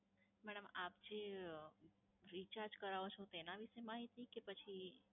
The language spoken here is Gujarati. madam આપ જે, recharge કરાવો છો એનાં વિષે માહિતી કે પછી?